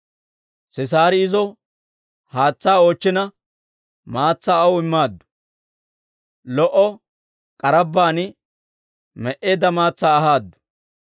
Sisaari izo haatsaa oochchina, maatsaa aw immaaddu. Lo"o k'arabbaan me"eedda maatsaa ahaadu.